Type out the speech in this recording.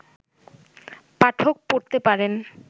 পাঠক পড়তে পারেন